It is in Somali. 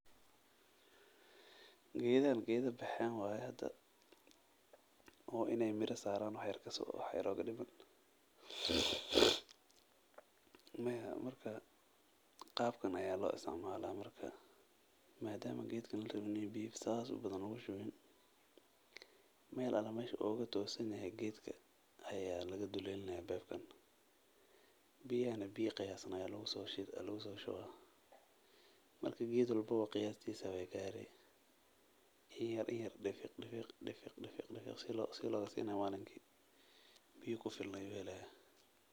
Geedahan geeda baxeen waye hada oo inaay mira saaran wax yar ooga diman madama larabin in biya badan lagu shubo beebka meel yar ayaa laga dulelina geed walbo biya kufilan ayuu helaa.